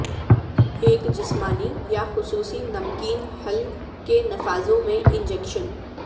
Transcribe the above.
ایک جسمانی یا خصوصی نمکین حل کے نفاذوں میں انجکشن